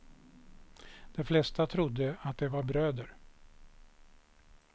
De flesta trodde att de var bröder.